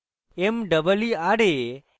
meera